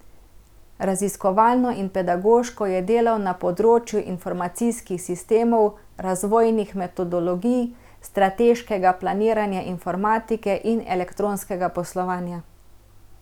Raziskovalno in pedagoško je delal na področju informacijskih sistemov, razvojnih metodologij, strateškega planiranja informatike in elektronskega poslovanja.